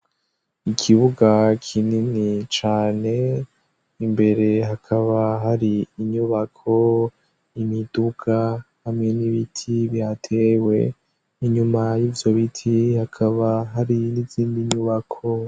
Ikibuga kinini cane, imbere hakaba hari inyubako, imiduga hamwe n'ibiti bihatewe. Inyuma y'ivyo biti hakaba hari n'izindi nyubako.